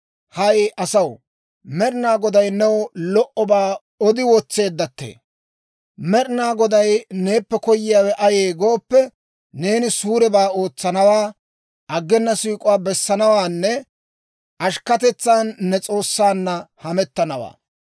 Hay asaw, Med'ina Goday new lo"obaa odi wotseeddattee. Med'ina Goday neeppe koyiyaawe ayee gooppe, neeni suurebaa ootsanawaa, aggena siik'uwaa bessanawaanne ashkketetsan ne S'oossaanna hamettanawaa.